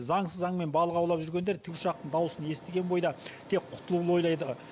заңсыз аң мен балық аулап жүргендер тікұшақтың дауысын естіген бойда тек құтылуды ойлайды